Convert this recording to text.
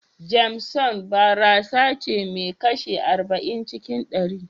JAMESON barasace mai kashi arba'in cikin ɗari.